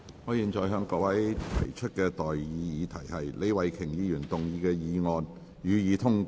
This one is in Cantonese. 我現在向各位提出的待議議題是：李慧琼議員動議的議案，予以通過。